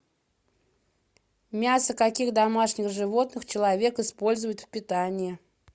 мясо каких домашних животных человек использует в питании